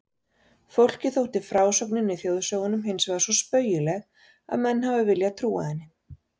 Fólki þótti frásögnin í þjóðsögunum hinsvegar svo spaugileg að menn hafa viljað trúa henni.